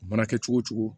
A mana kɛ cogo cogo